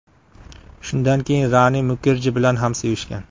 Shundan keyin Rani Mukerji bilan ham sevishgan.